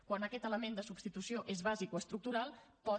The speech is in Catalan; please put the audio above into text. quan aquest element de substitució és bàsic o estructural pot